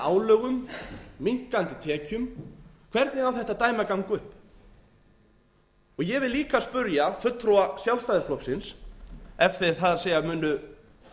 álögum minnkandi tekjum hvernig á þetta dæmi að ganga upp ég vil líka spyrja fulltrúa sjálfstæðisflokksins það er ef þeir munu